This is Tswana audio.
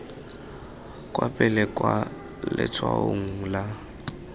kwa pele kwa letshwaong la